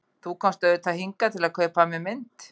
Þú komst auðvitað hingað til að kaupa af mér mynd.